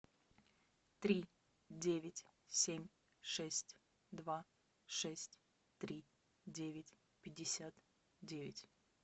три девять семь шесть два шесть три девять пятьдесят девять